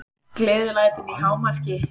Gleðilætin í hámarki.